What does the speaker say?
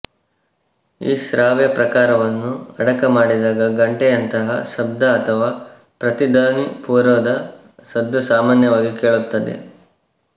ಈ ಶ್ರಾವ್ಯ ಪ್ರಕಾರವನ್ನು ಅಡಕಮಾಡಿದಾಗ ಗಂಟೆಯಂತಹ ಶಬ್ದ ಅಥವಾ ಪ್ರತಿಧ್ವನಿಪೂರ್ವದ ಸದ್ದು ಸಾಮಾನ್ಯವಾಗಿ ಕೇಳುತ್ತದೆ